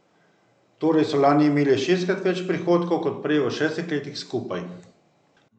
Torej so lani imeli šestkrat več prihodkov kot prej v šestih letih skupaj.